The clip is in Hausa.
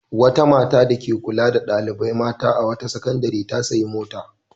Wata mata dake kula da ɗalibai mata a wata sakandare ta sayi mota.